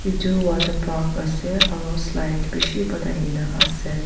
itu water park ase aru slide bishi banai kina ase.